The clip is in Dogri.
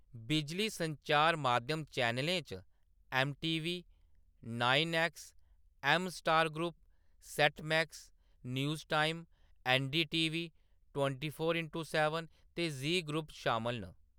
बिजली संचार माध्यम चैनलें च एम.टी.वी. Nine X. म. Star group, set max, news time, NDTV. Twenty four into seven ते जी ग्रुप शामल न।